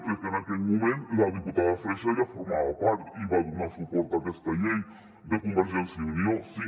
crec que en aquell moment la diputada freixa ja en formava part i va donar suport a aquesta llei de convergència i unió sí